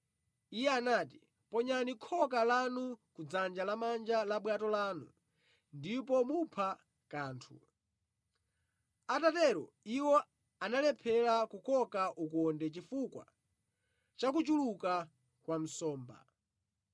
Iye anati, “Ponyani khoka lanu kudzanja lamanja la bwato lanu ndipo mupha kanthu.” Atatero, iwo analephera kukoka ukonde chifukwa chakuchuluka kwa nsomba.